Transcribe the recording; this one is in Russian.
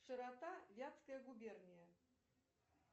широта вятская губерния